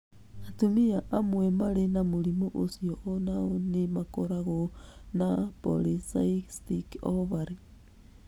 Atumia amwe marĩ na mũrimũ ũcio o nao nĩ makoragwo na polycystic ovary.